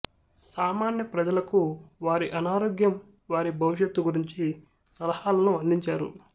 సామాన్య ప్రజలకు వారి అనారోగ్యం వారి భవిష్యత్తు గురించి సలహాలను అందించారు